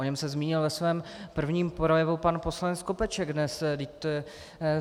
O něm se zmínil ve svém prvním projevu pan poslanec Skopeček dnes.